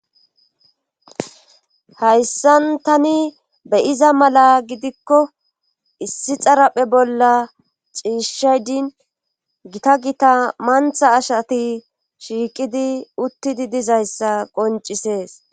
hayssan tani beyiza mala gidikko issi xaraphe bolla ciishshaydin gita gita mantha ashati shiiqidi uttidi dizayssa qoncisees